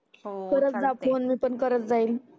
हो चालते करत जा फोन मी पण करत जाईल